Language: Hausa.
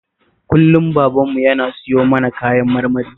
Kullum babanmu yana siyo mana kayan marmari